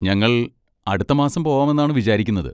ഞങ്ങൾ അടുത്ത മാസം പോവാമെന്നാണ് വിചാരിക്കുന്നത്.